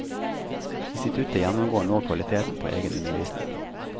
Instituttet gjennomgår nå kvaliteten på egen undervisning.